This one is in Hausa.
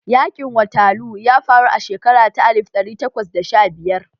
Yaƙin waterloo ya faru a shekara ta alif ɗari takwas da sha biyar